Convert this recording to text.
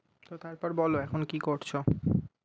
তো তারপর বলো এখন কি করছো?